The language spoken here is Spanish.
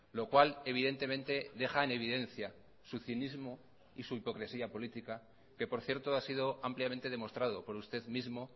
lo cual evidentemente deja en evidencia su cinismo y su hipocresía política que por cierto ha sido ampliamente demostrado por usted mismo